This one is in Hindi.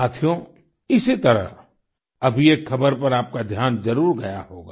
साथियो इसी तरह अभी एक खबर पर आपका ध्यान जरूर गया होगा